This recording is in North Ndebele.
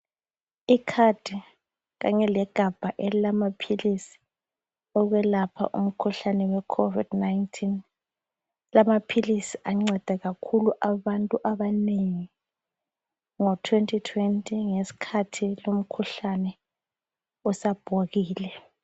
Ikhadi kanye legabha elilamaphilisi okwelapha umkhuhlane we COVID19. Lamaphilisi anceda kakhulu abantu abanengi ngo 2020 ngeskhathi lumkhuhlane usabhokile.